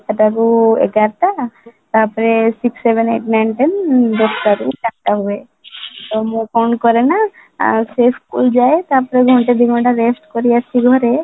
ସାତ ଟା ରୁ ଏଗାର ଟା ତାପରେ sixth, seventh, eight, ninth, tenth ଦଶ ଟା ରୁ ଚାରିଟା ହୁଏ ତାପରେ ମୁଁ କ'ଣ କରେ ନା ଆଉ ସେ ସ୍କୁଲ ଯାଏ ତାପରେ ଘଣ୍ଟେ ଦି ଘଣ୍ଟା rest କରିଆସି ଘରେ